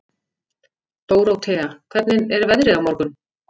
Dórótea, hvernig er veðrið á morgun?